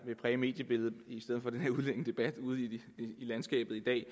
vil præge mediebilledet ude i landskabet i dag i